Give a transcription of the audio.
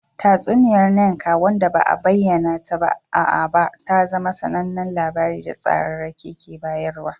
Tatsuniyar Nneka wanda ba a bayyana ta ba a Aba ta zama sanannen labari da tsararraki ke bayarwa.